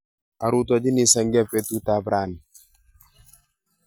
Arutochini senge petut ap raini